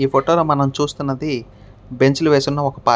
ఈ ఫోటో లో మనం చూస్తున్నది బెంచీలు వేసి ఉన్న పార్క్ .